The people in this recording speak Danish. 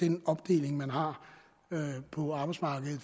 den opdeling man har på arbejdsmarkedet